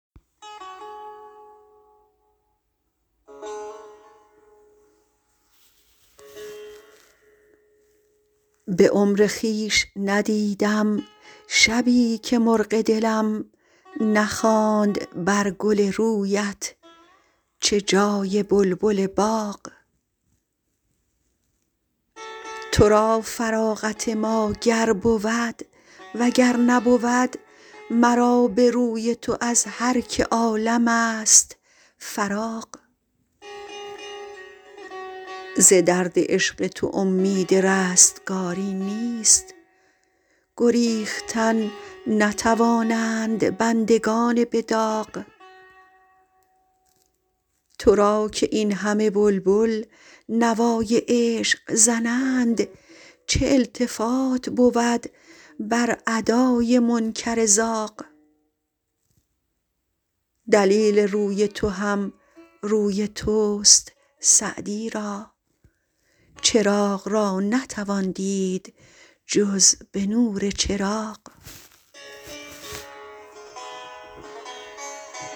به عمر خویش ندیدم شبی که مرغ دلم نخواند بر گل رویت چه جای بلبل باغ تو را فراغت ما گر بود و گر نبود مرا به روی تو از هر که عالم ست فراغ ز درد عشق تو امید رستگاری نیست گریختن نتوانند بندگان به داغ تو را که این همه بلبل نوای عشق زنند چه التفات بود بر ادای منکر زاغ دلیل روی تو هم روی توست سعدی را چراغ را نتوان دید جز به نور چراغ